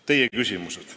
Teie küsimused.